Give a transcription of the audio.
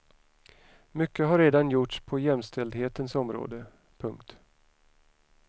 Mycket har redan gjorts på jämställdhetens område. punkt